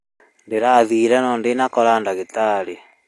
Ndĩrathire no ndinakora ndagĩtarĩ